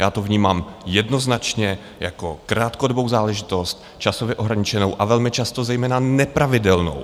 Já to vnímám jednoznačně jako krátkodobou záležitost, časově ohraničenou a velmi často zejména nepravidelnou.